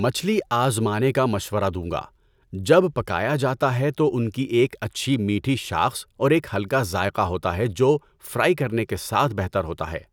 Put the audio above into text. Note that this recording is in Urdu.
مچھلی آزمانے کا مشورہ دوں گا۔ جب پکایا جاتا ہے تو ان کی ایک اچھی میٹھی شاخص اور ایک ہلکا ذائقہ ہوتا ہے جو فرائی کرنے کے ساتھ بہتر ہوتا ہے۔